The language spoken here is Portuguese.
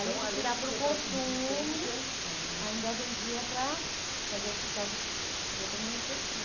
Então, além de ser para subsistência... Ah. Além de tirar para o consumo, ainda vendia para para as outras para as outras manutenção.